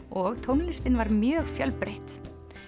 og tónlistin var mjög fjölbreytt